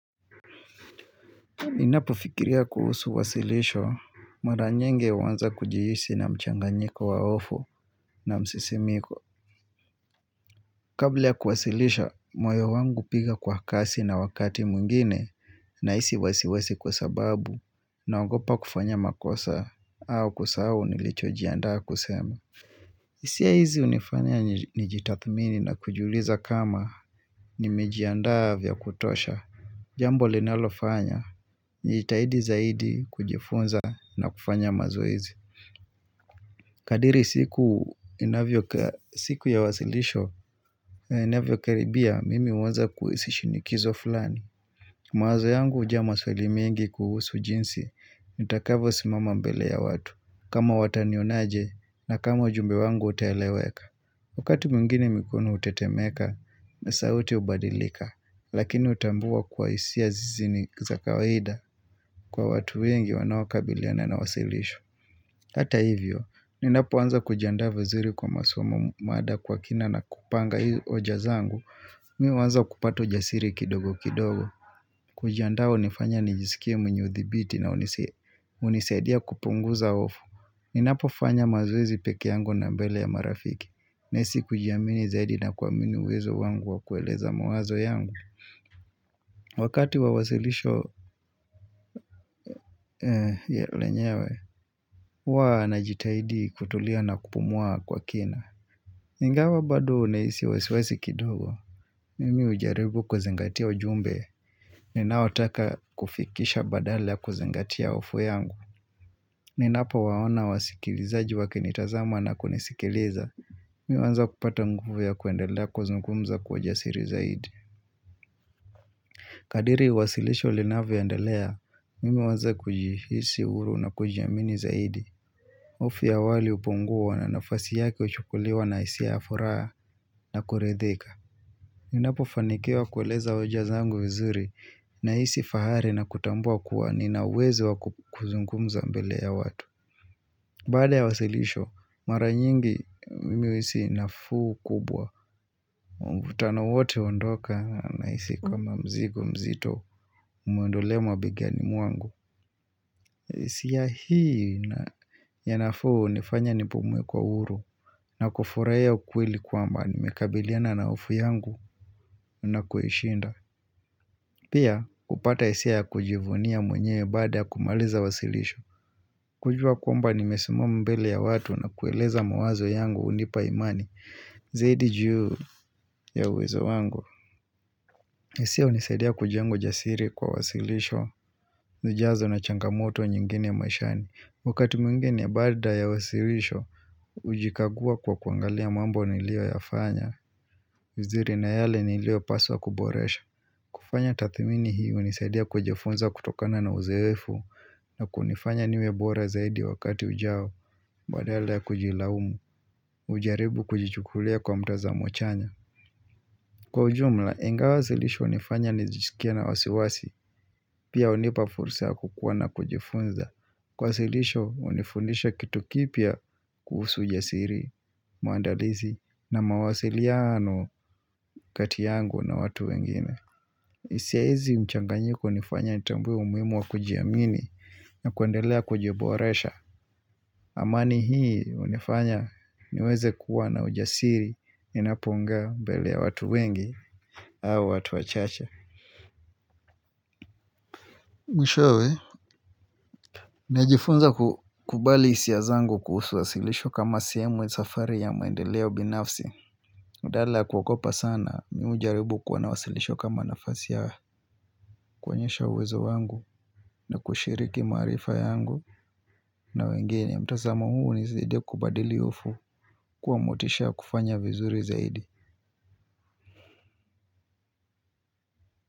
Inapu fikiria kuhusu wasilisho, mara nyenge wanza kujiisi na mchanganyiko waofo na msisimiko. Kabla kuwasilisha, moyo wangu piga kwa kasi na wakati mungine na isi wasiwesi kwa sababu na wangopa kufanya makosa au kusa au nilichojiandaa kusema. Isia hizi unifanya nijitathmini na kujuliza kama ni mijiandaa vya kutosha. Jambo linalofanya, jitahidi zaidi kujifunza na kufanya mazoizi Kadiri siku inavyo, siku ya wasilisho inavyo karibia, mimi uonza kuisishinikizo fulani Mwazo yangu uja masweli mingi kuhusu jinsi, nitakavo simama mbele ya watu kama watanionaje na kama jumbe wangu utaeleweka Wukati mungini mikono utetemeka na sauti ubadilika Lakini utambua kwa isia zizi ni zakawahida Kwa watu wengi wanawakabiliana na wasilishu Hata hivyo, ninapo wanza kujandava ziri kwa masuamu mada kwa kina na kupanga hii ojazangu Mio wanza kupatu jasiri kidogo kidogo Kujandavo nifanya nijisikie mnye uthibiti na uniseadia kupunguza ofu Ninapo fanya mazuizi peke yango na mbele ya marafiki Nisi kujiamini zaidi na kuamini uwezo wangu wa kueleza muwazo yangu Wakati wawasilisho ya lenyewe Waa na jitahidi kutulia na kupumua kwa kina Ngingawa badu nisi wasi wasi kidogo Mimi ujaribu kuzengatia ujumbe Ninaotaka kufikisha badala kuzengatia ufu yangu Ninaapa waona wasikilizaji wakinitazama na kunisikileza Miwanza kupata nguvu ya kuendelea kuzungumza kujasiri zaidi Kadiri wasilisho linavu ya ndalea, mimi waza kujihisi uru na kujiamini zaidi Ofi ya wali uponguwa na nafasi yaki uchukuliwa na isi ya afuraa na kuredhika Ninapo fanikewa kueleza oja zangu vizuri na isi fahari na kutambua kuwa ninawezi wa kuzungumza mbele ya watu Baada ya wasilisho, mara nyingi mimiwisi nafu kubwa Mbutano wote ondoka na isi kama mzigo mzito Mwendolema bigani muangu isi ya hii ya nafu nifanya nipumwe kwa uru na kufuraya ukwili kwamba Nimekabiliana na ufu yangu na kuhishinda Pia kupata isi ya kujivunia mwenye Bada ya kumaliza wasilisho kujua kwamba nimesimu mbele ya watu na kueleza mawazo yangu unipa imani Zaidi juu ya uwezo wangu Nisi ya unisaidia kujango jasiri kwa wasilisho zijazo na changamoto nyingine ya maishani Wakati mwingine ya barda ya wasilisho Ujikagua kwa kuangalia mambo nilio yafanya Ziri na yale nilio paswa kuboresha kufanya tathimini hii unisaidia kujefunza kutokana na uzewefu na kunifanya niwebora zaidi wakati ujao Bada yale ya kujilaumu ujaribu kujichukulia kwa mtaza mochanya Kwa ujumla, inga wasilisho unifanya nizikia na wasiwasi Pia unipafursa kukuwa na kujifunza Kwa wasilisho unifundisha kitu kipia kuhusu ujasiri, muandalizi na mawasiliano katiyangu na watu wengine isia hizi mchanganyiko unifanya nitambwe umimu wa kujiamini na kuandelea kujiboresha amani hii unifanya niweze kuwa na ujasiri inaponga mbele ya watu wengi au watu wachacha. Mwishowe, najifunza kubali isia zangu kusu wasilisho kama siyemwe safari ya maendeleo binafsi. Udala kukopa sana, miu jaribu kuwana wasilisho kama nafasi ya kuanyesha uwezo wangu na kushiriki marifa yangu na wengene. Mta zama huu nizide kubadili ufu kwa motisha kufanya vizuri zaidi.